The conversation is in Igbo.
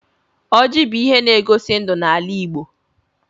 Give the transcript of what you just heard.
Ọjị bụ ihe n'egosi ndụ n'ala Igbo.